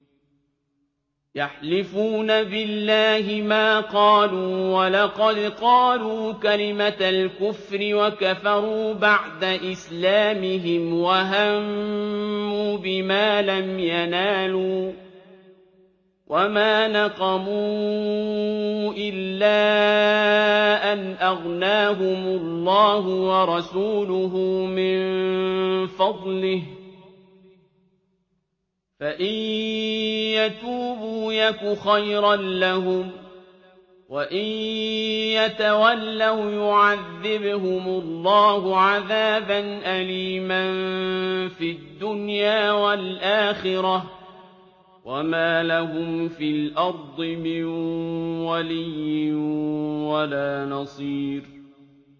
يَحْلِفُونَ بِاللَّهِ مَا قَالُوا وَلَقَدْ قَالُوا كَلِمَةَ الْكُفْرِ وَكَفَرُوا بَعْدَ إِسْلَامِهِمْ وَهَمُّوا بِمَا لَمْ يَنَالُوا ۚ وَمَا نَقَمُوا إِلَّا أَنْ أَغْنَاهُمُ اللَّهُ وَرَسُولُهُ مِن فَضْلِهِ ۚ فَإِن يَتُوبُوا يَكُ خَيْرًا لَّهُمْ ۖ وَإِن يَتَوَلَّوْا يُعَذِّبْهُمُ اللَّهُ عَذَابًا أَلِيمًا فِي الدُّنْيَا وَالْآخِرَةِ ۚ وَمَا لَهُمْ فِي الْأَرْضِ مِن وَلِيٍّ وَلَا نَصِيرٍ